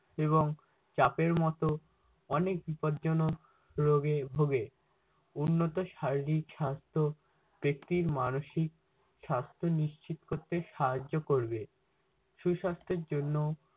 এবং চাপের মতো অনেক বিপদজনক রোগে ভোগে। উন্নত শারীরিক স্বাস্থ্য একটি মানসিক স্বাস্থ্যে নিশ্চিত করতে সাহায্য করবে। সুসাস্থের জন্য